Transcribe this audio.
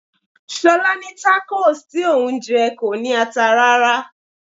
Ṣolá ní Tacos tí òun jẹ kò ní ata rárá.